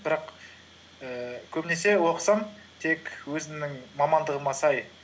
бірақ ііі көбінесе оқысам тек өзімнің мамандығыма сай